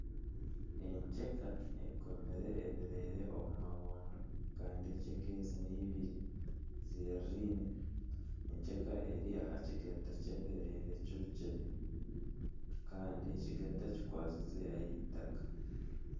Enkyeka ekomire ebireere omu mabondo kandi enkyeka ezi nibiri ziririine, enkyeka eri aha kigata ky'ebirere kirukire kandi ekigata kikwasize aha itaka